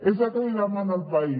és el que li demana el país